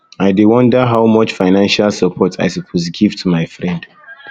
i dey wonder how much financial support i suppose to give to my friend